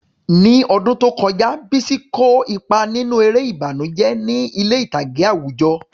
Ní ọdún tó kọjá, Bisi kó ipa nínú eré ìbànújẹ́ ní ilé ìtàgé àwùjọ.